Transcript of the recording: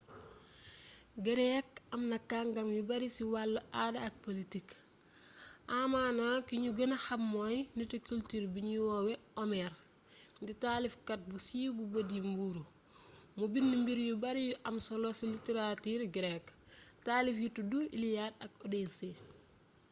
grece amna kàngam yu bari ci wàllu aada ak politique amaana ki ñu gëna xam mooy nitu culture bii ñuy woowe homère di taalifkat bu siiw bu bët yi muuru mu bind mbir yu bari yu am solo ci littérature grecque taalif yi tudd iliade ak odyssée